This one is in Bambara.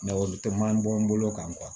olu tɛ man bɔ n bolo kan